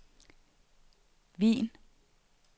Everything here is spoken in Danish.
Wien